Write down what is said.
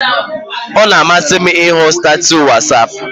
Ọ na-amasị m ịhụ statuus nke WhatsApp